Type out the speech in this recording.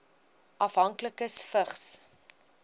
afhanklikes vigs